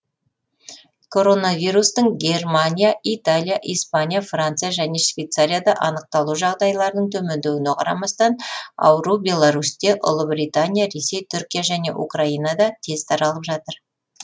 коронавирустың германия италия испания франция және швейцарияда анықталу жағдайларының төмендеуіне қарамастан ауру беларусьте ұлыбритания ресей түркия және украинада тез таралып жатыр